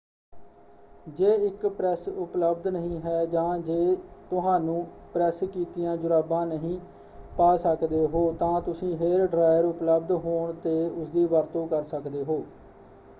ਜੇ ਇੱਕ ਪ੍ਰੈਸ ਉਪਲਬਧ ਨਹੀਂ ਹੈ ਜਾਂ ਜੇ ਤੁਹਾਨੂੰ ਪ੍ਰੈਸ ਕੀਤੀਆਂ ਜੁਰਾਬਾਂ ਨਹੀਂ ਪਾ ਸਕਦੇ ਹੋ ਤਾਂ ਤੁਸੀਂ ਹੇਅਰ ਡ੍ਰਾਇਅਰ ਉਪਲਬਧ ਹੋਣ ਤੇ ਉਸਦੀ ਵਰਤੋਂ ਕਰ ਸਕਦੇ ਹੋ।